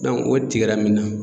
o tigɛra min na